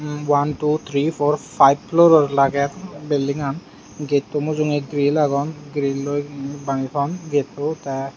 one two three four five floror lagey belding aan getto mujunge grill agon grilloi bani ton getto te.